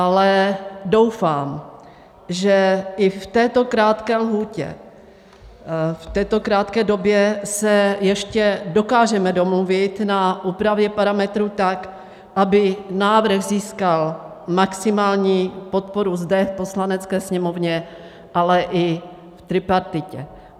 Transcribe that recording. Ale doufám, že i v této krátké lhůtě, v této krátké době se ještě dokážeme domluvit na úpravě parametrů tak, aby návrh získal maximální podporu zde v Poslanecké sněmovně, ale i v tripartitě.